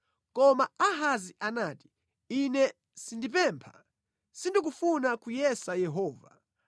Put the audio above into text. Koma Ahazi anati, “Ine sindipempha; sindikufuna kuyesa Yehova.”